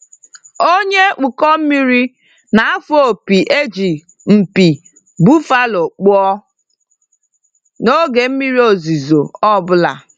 Onye ụkọ mmiri na-afụ opi e ji mpi buffalo kpụọ n'oge mmiri ozuzo ọ bụla.